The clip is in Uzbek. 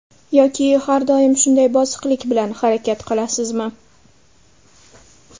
Yoki har doim shunday bosiqlik bilan harakat qilasizmi?